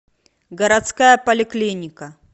городская поликлиника